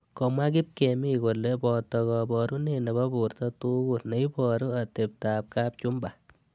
Komwa kipkemi kole boto kaborunet nebo borto tugul neiboru atebto ab kapchumba